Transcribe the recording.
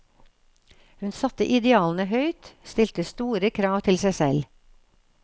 Hun satte idealene høyt, stilte store krav til seg selv.